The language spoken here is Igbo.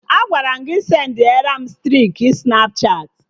Agwara m gị sendiaram striki Snapchatị!